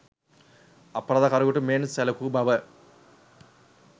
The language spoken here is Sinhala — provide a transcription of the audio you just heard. අපරාධකාරයෙකුට මෙන් සැලකූ බව